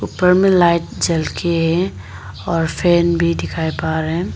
ऊपर में लाइट जल के है और फैन भी दिखाई पड़ रहे हैं।